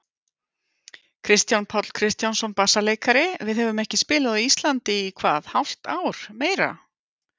Kristján Páll Kristjánsson, bassaleikari: Við höfum ekki spilað á Íslandi í hvað hálft ár, meira?